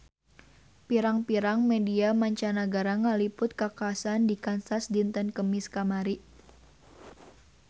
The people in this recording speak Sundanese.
Pirang-pirang media mancanagara ngaliput kakhasan di Kansas dinten Kemis kamari